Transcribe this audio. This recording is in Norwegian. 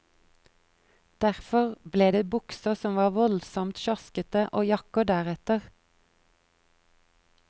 Derfor ble det bukser som var voldsomt slaskete og jakker deretter.